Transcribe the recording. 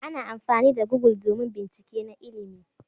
Ana amfani da google domin bincike na ilimi.